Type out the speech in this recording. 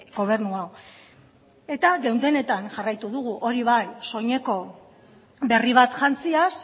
gobernu hau eta geundenetan jarraitu dugu hori bai soineko berri bat jantziaz